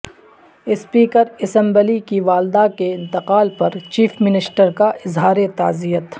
speaker assembly کی والدہ کے انتقال پر چیف منسٹر کا اظہار تعزیت